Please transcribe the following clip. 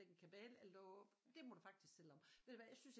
Lægge en kabale eller du det må du faktisk selv om ved du hvad jeg synes ikke